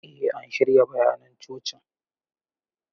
Eh an shirya bayanan coci.